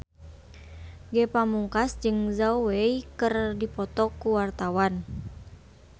Ge Pamungkas jeung Zhao Wei keur dipoto ku wartawan